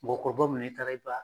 Mɔgɔkɔrɔba mun don n'i taara i b'a.